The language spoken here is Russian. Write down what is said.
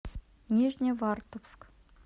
нижневартовск